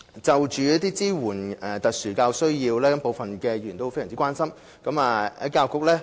就支援特殊教育需要，部分議員非常關心。